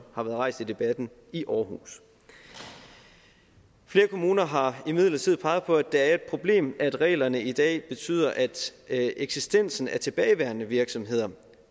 har været rejst i debatten i århus flere kommuner har imidlertid peget på at det er et problem at reglerne i dag betyder at at eksistensen af tilbageværende virksomheder